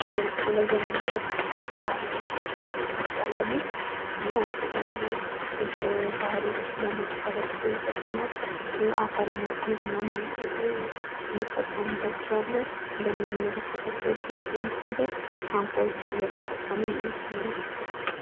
በምስሉ ላይ የምንመለከታቸው ባህላዊ ታንኳወች ይባላሉ። የተለያዩ ባህሮችን ለማቋረጥ እንዲሁም አሳ ለማጥመድ እንጠከምባቸዋለን። እንደምንመለከታቸው ልጆቹ ታንኳወቹን እየገጠሙ እንመለከታቸዋለን።